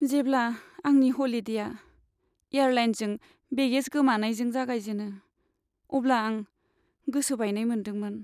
जेब्ला आंनि ह'लिडेआ एयारलाइनजों बेगेज खोमाजानायजों जागायजेनो, अब्ला आं गोसो बायनाय मोन्दोंमोन।